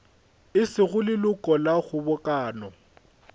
e sego leloko la kgobokano